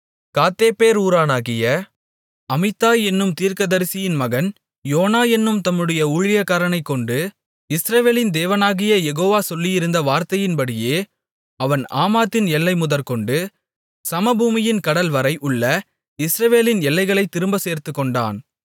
காத்தேப்பேர் ஊரானாகிய அமித்தாய் என்னும் தீர்க்கதரிசியின் மகன் யோனா என்னும் தம்முடைய ஊழியக்காரனைக்கொண்டு இஸ்ரவேலின் தேவனாகிய யெகோவா சொல்லியிருந்த வார்த்தையின்படியே அவன் ஆமாத்தின் எல்லை முதற்கொண்டு சமபூமியின் கடல்வரை உள்ள இஸ்ரவேலின் எல்லைகளைத் திரும்பச் சேர்த்துக்கொண்டான்